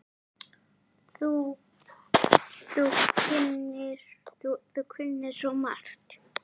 Þú kunnir svo margt.